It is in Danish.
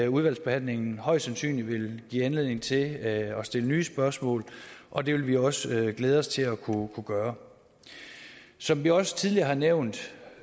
udvalgsbehandlingen højst sandsynligt vil give anledning til at stille nye spørgsmål og det vil vi også glæde os til at kunne gøre som vi også tidligere har nævnt